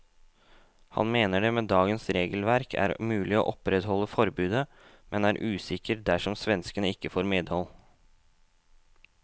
Han mener det med dagens regelverk er mulig å opprettholde forbudet, men er mer usikker dersom svenskene ikke får medhold.